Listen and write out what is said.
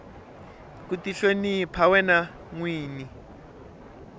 ku tihlonipa wena nwini